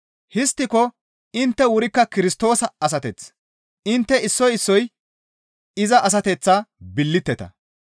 Histtiko intte wurikka Kirstoosa asateth; intte issoy issoy iza asateththa billiteta.